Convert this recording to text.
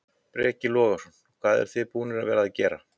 Breki Logason: Hvað eruð þið búnar að vera að gera?